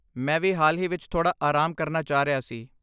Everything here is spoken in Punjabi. ਮੈਂ ਵੀ ਹਾਲ ਹੀ ਵਿੱਚ ਥੋੜ੍ਹਾ ਆਰਾਮ ਕਰਨਾ ਚਾਹ ਰਿਹਾ ਸੀ।